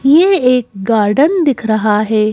ये एक गार्डन दिख रहा है।